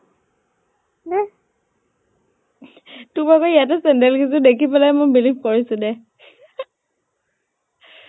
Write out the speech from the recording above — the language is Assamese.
দেহ । তোৰ বাৰু ইয়াতে চেন্দেল কেইযোৰ দেখি believe কৰিছো দেহ ।